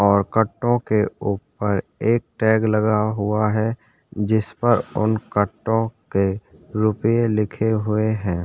और कट्टो के ऊपर एक टैग लगा हुआ है जिस पर उन कट्टो के रुपे लिखे हुए है ।